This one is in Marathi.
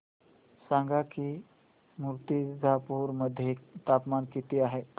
सांगा की मुर्तिजापूर मध्ये तापमान किती आहे